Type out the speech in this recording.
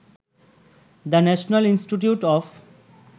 the national institute of